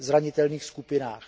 zranitelných skupinách.